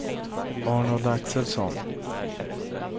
Arnold Axelsson